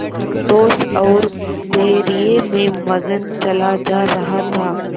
संतोष और धैर्य में मगन चला जा रहा था